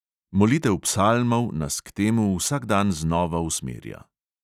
Molitev psalmov nas k temu vsak dan znova usmerja.